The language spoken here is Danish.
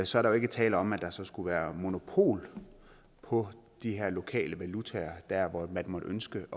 så er der ikke tale om at der så skulle være monopol på de her lokale valutaer dér hvor man måtte ønske